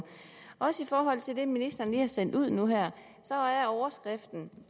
også i forhold til det ministeren lige har sendt ud nu her overskriften